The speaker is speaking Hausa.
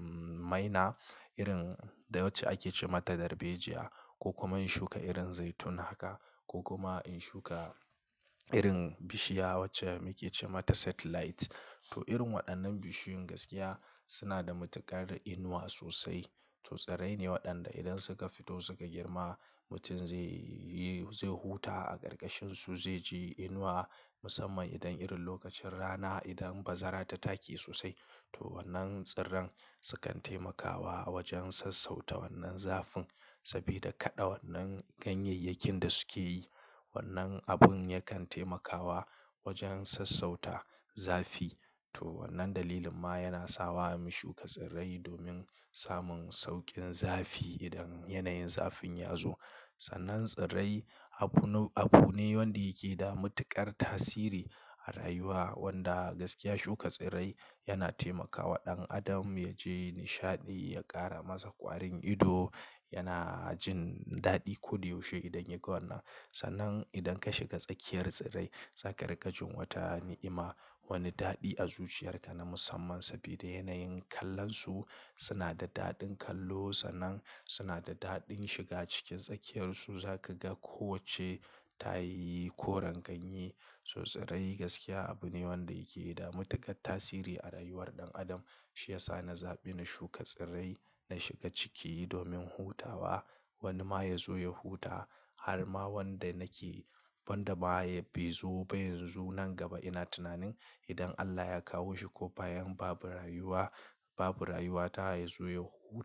maina irin da wacce ake ce mata darbejiyya. Ko kuma in shuka irin zaitun haka ko kuma in shuka irin bishiya wacce muke ce mata satellite. To irin waɗannan bishiyun gaskiya suna da matuƙar inuwa sosai. Toh tsirrai ne waɗanda idan suka fito suka girma, mutum zai, zai huta a ƙarƙashin su, zai ji inuwa musamman idan irin lokacin rana idan bazara ta taki sosai. Toh wannan tsirran sukan taimakawa wajen sassauta wannan zafin sabida kaɗa wannan ganyayyakin da suke yi. Wannan abun yakan taimakawa wajen sassauta zafi. To wannan dalilin ma yana sawa mu shuka tsirrai domin samun sauƙin zafi idan yanayin zafin ya zo. Sannan tsirrai abu, abu ne wanda yake da matuƙar tasiri a rayuwa wanda gaskiya shuka tsirrai yana taimakawa ɗan adam ya ji nishaɗi, ya ƙara masa ƙwarin ido, yana jin daɗi. Ko dai yaushe idan ya ga wannan. Sannan idan ka shiga tsakiyar tsirrai, za ka riƙa jin wata ni'ima, wani daɗi a zuciyarka na musamman saboda yanayin kallon su. Suna da daɗin kallo. Sannan suna da daɗin shiga cikin tsakiyarsu. Za ka ga ko wacce ta yi koren ganye. So tsirrai gaskiya abu ne wanda yake da matuƙar tasiri a rayuwar ɗan adam. Shi ya sa na zaɓi na shuka tsirrai, na shiga ciki domin hutawa. Wani ma ya zo ya huta. Har ma wanda nake, wanda ma bai zo ba yanzu nan gaba ina tunanin idan Allah ya kawo shi ko bayan babu rayuwa, babu rayuwa ta ya zo ya hu.